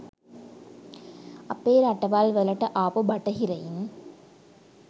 අපේ රටවල් වලට ආපු බටහිරයින්.